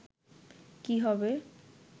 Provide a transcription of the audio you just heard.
কি হবে”